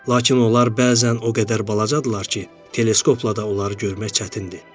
Lakin onlar bəzən o qədər balacadırlar ki, teleskopla da onları görmək çətindir.